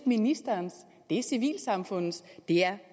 ministerens det er civilsamfundets det er